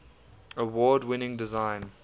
award winning design